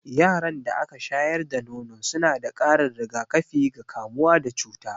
Yaran da aka shayar da nono suna da ƙarin rigakafi ga kamuwa da cuta.